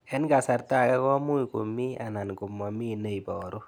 Eng' kasarta ag'e ko much ko mii anan komamii ne ibaru